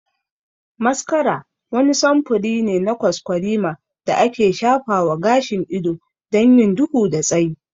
Mascara wani samfuri ne na kwaskwarima da ake shafa wa gashin ido don yin duhu da tsayi.